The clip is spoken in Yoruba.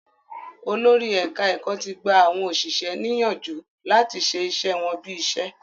Olórí ẹ̀ka-ẹ̀kọ́ ti gba àwọn òṣìṣẹ́ ní yánjù láti ṣe iṣẹ́ wọ́n bí iṣẹ́.